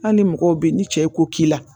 Hali mɔgɔw bɛ yen ni cɛ ye ko k'i la